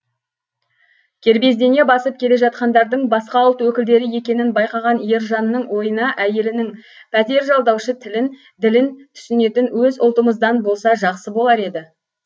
кербездене басып келе жатқандардың басқа ұлт өкілдері екенін байқаған ержанның ойына әйелінің пәтер жалдаушы тілін ділін түсінетін өз ұлтымыздан болса жақсы болар еді